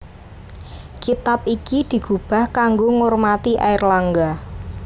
Kitab iki digubah kanggo ngormati Airlangga